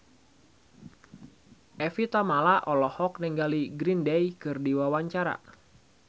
Evie Tamala olohok ningali Green Day keur diwawancara